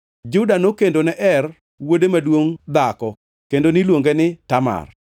Juda nokendone Er, wuode maduongʼ dhako kendo niluonge ni Tamar.